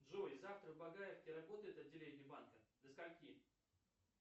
джой завтра в багаевке работает отделение банка до скольки